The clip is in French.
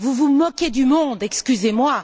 vous vous moquez du monde, excusez moi.